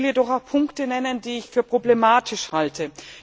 Ich will jedoch auch Punkte nennen, die ich für problematisch halte.